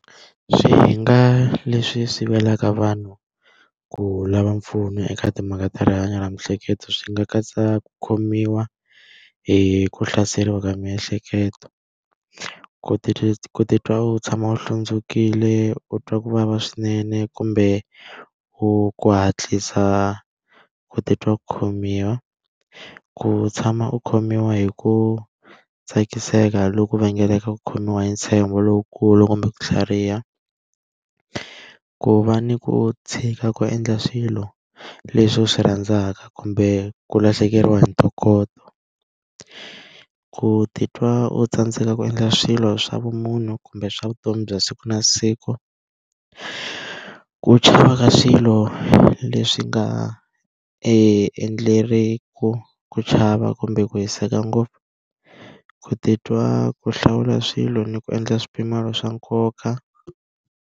Swihinga leswi sivelaka vanhu ku lava mpfuno eka timhaka ta rihanyo ra miehleketo swi nga katsa ku khomiwa hi ku hlaseriwa ka miehleketo, ku ku titwa u tshama u hlundzukile, u twa ku vava swinene, kumbe u ku hatlisa ku titwa ku khomiwa, ku tshama u khomiwa hi ku tsakiseka loku vangelaka ku khomiwa hi ntshembo lowukulu kumbe ku tlhariha. Ku va ni ku tshika ku endla swilo leswi u swi rhandzaka kumbe ku lahlekeriwa hi ntokoto, ku titwa u tsandzeka ku endla swilo swa vumunhu kumbe swa vutomi bya siku na siku, ku chava ka swilo leswi nga a endleriwaka ku chava kumbe ku hiseka ngopfu, ku titwa ku hlawula swilo ni ku endla swipimelo swa nkoka.